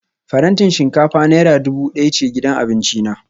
Farantin shinkafa naira dubu daya ce gidan abinci na